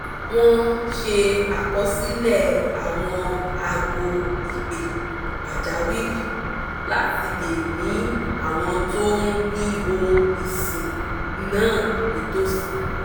wọ́n ṣe àkọsílẹ̀ àwọn ago ìpè pàjáwìrì láti lè ní àwọn tó ni ohun ìsìn náà nítòsí